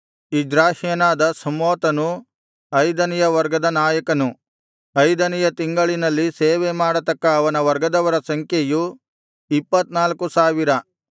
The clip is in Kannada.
ಇಜ್ರಾಹ್ಯನಾದ ಶಮ್ಹೂತನು ಐದನೆಯ ವರ್ಗದ ನಾಯಕನು ಐದನೆಯ ತಿಂಗಳಿನಲ್ಲಿ ಸೇವೆಮಾಡತಕ್ಕ ಅವನ ವರ್ಗದವರ ಸಂಖ್ಯೆಯು ಇಪ್ಪತ್ತ್ನಾಲ್ಕು ಸಾವಿರ